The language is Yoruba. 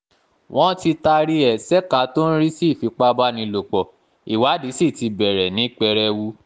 wọ́n ti taari ẹ̀ ṣèkà tó ń rí sí ìfipábánilòpọ̀ ìwádìí sí ti bẹ̀rẹ̀ ní pẹrẹwu